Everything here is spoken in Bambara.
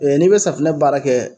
n'i be safinɛ baara kɛ